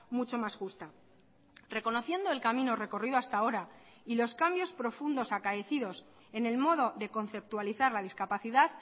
mucho más justa reconociendo el camino recorrido hasta ahora y los cambios profundos acaecidos en el modo de conceptualizar la discapacidad